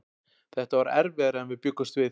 Þetta var erfiðara en við bjuggumst við.